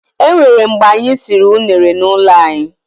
E nwere mgbe anyị siri unere n'ụlọ anyị.